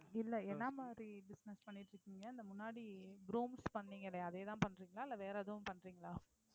இல்லை என்ன மாதிரி business இந்த முன்னாடி brooms பண்ணீங்களே அதையேதான் பண்றீங்களா இல்லை வேற எதுவும் பண்றீங்களா